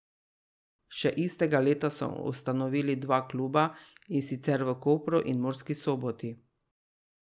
Še istega leta so ustanovili še dva kluba, in sicer v Kopru in Murski Soboti.